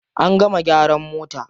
An gama gyaran mota.